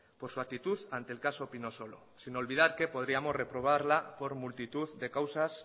por su actitud ante el caso pinosolo sin olvidar que podríamos reprobarla por multitud de causas